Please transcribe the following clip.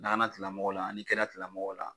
Lakanatigimɔgɔw la ani kɛnɛyatigilamɔgɔw la